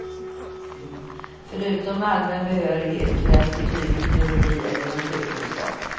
Förutom allmän behörighet krävs betyg i biologi eller naturkunskap.